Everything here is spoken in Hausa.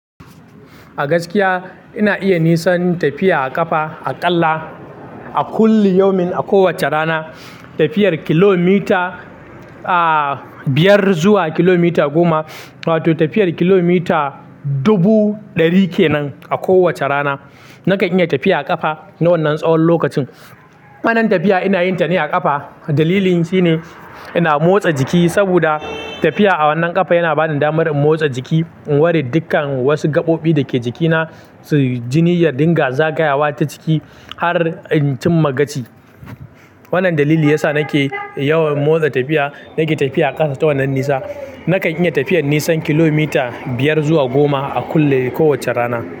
A gaskiya ina iya nisan tafiya a ƙafa aƙalla A kulli yaumin a kowacce rana tafiyar kilomita, ah, biyar zuwa kilomita goma wato tafiyar kilomita dubu ɗari kenan a kowace rana. Nakan iya tafiya a ƙafa na wannan tsawon lokacin. Wannan tafiya ina yin ta ne a ƙafa. Dalilin shine ina motsa jiki saboda tafiya a wannan ƙafa yana bani damar in motsa jiki, in ware dukkan wasu gaɓoɓi da ke jikina, su jini ya dinga zagayawa ta ciki har in cimma gaci. Wannan dalili ya sa nake yawan motsa tafiya. Nake tafiya a ƙasa ta wannan nisa. Nakan iya tafiyar nisan kilomita biyar zuwa goma a kullum, kowace rana.